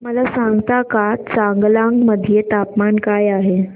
मला सांगता का चांगलांग मध्ये तापमान काय आहे